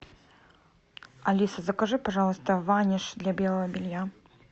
алиса закажи пожалуйста ваниш для белого белья